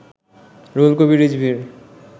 Ruhul Kabir রিজভীর